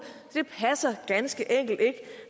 så det ganske enkelt ikke